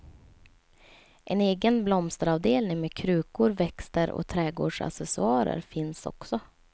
En egen blomsteravdelning med krukor, växter och trädgårdsaccessoarer finns också.